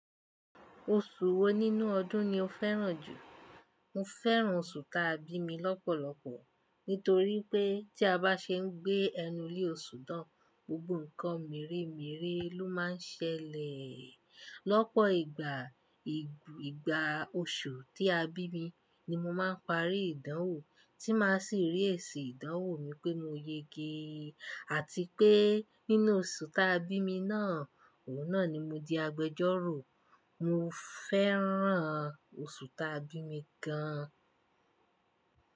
Oṣù wo nínú ọdún ni o fẹ́ràn jù? Mo fẹ́ràn oṣù ta bí mi lọ́pọ̀lọpọ̀. Nítorí pé tí a bá ṣe ń gbé ẹnu le oṣù tán, gbogbo ǹkan meere meere ló máa ń ṣẹlẹ̀. Lọ́pọ̀ ìgbà, ìgbà oṣù tí a bí mi ni mo máa ń parí ìdánwò, tí máa sì rí èsì ìdánwò mi pé mo yege. Àti pé nínú oṣù ta bí mi náà, òun náà ni mo di agbẹjọ́rò. Mo fẹ́ràn oṣù ta bí mi gan.